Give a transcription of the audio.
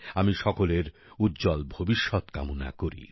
আমি সকলের উজ্জ্বল ভবিষ্যৎ কামনা করি